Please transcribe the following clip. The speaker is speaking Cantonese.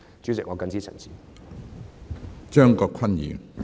主席，我謹此陳辭。